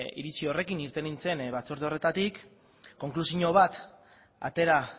iritzi horrekin irten nintzen batzorde horretatik konklusio bat atera